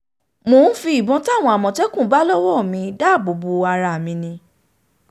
mò um ń fi ìbọn táwọn àmọ̀tẹ́kùn bá lọ́wọ́ mi um dáàbò bo ara mi ni